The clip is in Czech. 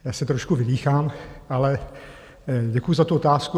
Já se trošku vydýchám, ale děkuju za tu otázku.